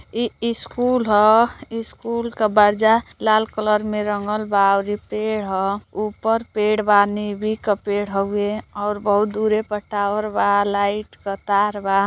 इ इ स्कूल ह स्कूल क बारजा लाल कलर में रंगल बा अउरी पेड़ ह ऊपर पेड़ बा नीबी क पेड़ ह उए और बहुत दुरी पर टावर बा लाइट क तार बा।